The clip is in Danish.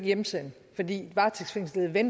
en ting